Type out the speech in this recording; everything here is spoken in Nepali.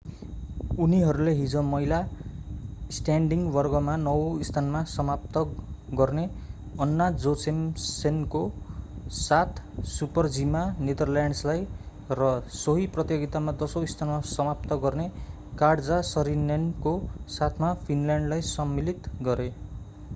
उनीहरूले हिजो महिला स्ट्यान्डिङ वर्गमा नवौँ स्थानमा समाप्त गर्ने अन्ना जोचेमसेनको साथ सुपर-जीमा नेदरल्यान्डलाई र सोही प्रतियोगितामा दशौँ स्थानमा समाप्त गर्ने काट्जा सरिनेनको साथमा फिनल्यान्डलाई सम्मिलित गरे